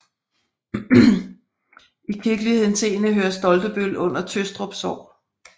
I kirkelig henseende hører Stoltebøl under Tøstrup Sogn